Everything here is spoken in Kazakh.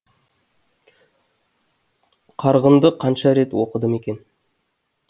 қарғынды қанша рет оқыдым екен